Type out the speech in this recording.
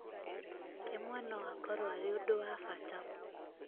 rĩmwe no akorwo arĩ ũndũ wa bata